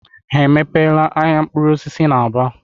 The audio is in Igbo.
I mepeela ahịa mkpụrụ osisi n'Aba?